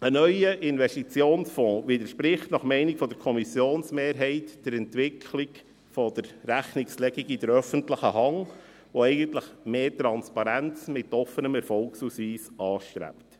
Ein neuer Investitionsfonds widerspricht nach Meinung der Kommissionsmehrheit der Entwicklung der Rechnungslegung der öffentlichen Hand, die eigentlich mehr Transparenz mit offenem Erfolgsausweis anstrebt.